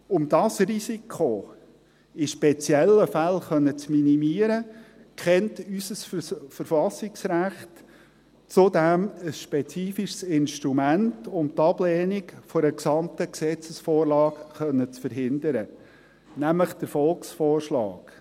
Um dieses Risiko in speziellen Fällen minimieren zu können, kennt unser Verfassungsrecht zudem ein spezifisches Instrument, um die Ablehnung einer gesamten Gesetzesvorlage verhindern zu können, nämlich den Volksvorschlag.